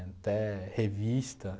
Até revista